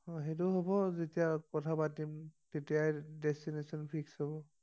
অ সেইটো হব যেতিয়া কথা পাতিম তেতিয়া তেতিয়াই ডেষ্টিনেচন ঠিক হব